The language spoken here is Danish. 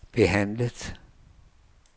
behandlet